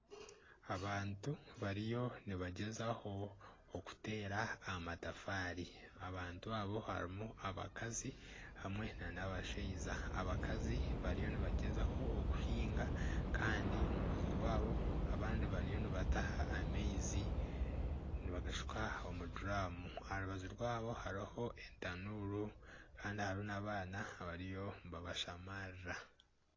Abantu bariyo nibagyezaho okuteera amatafaari abantu abo harimu abakazi hamwe n'abashaija. Abakazi bariyo nibagyezaho okuhinga kandi omu rubaju rwaabo abandi bariyo nibataaha amaizi nibagashuka omu duraamu aha rubaju rwaabo hariho entanuuru kandi hariho n'abaana abariyo nibabashamarira.